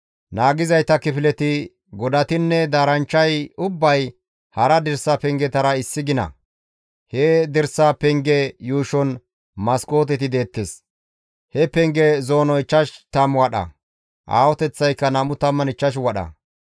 Naagizayta kifileti, godatinne daaranchchay ubbay hara dirsa pengetara issi gina. He dirsa pengeza yuushon maskooteti deettes. He pengeza zoonoy 50 wadha; aahoteththaykka 25 wadha.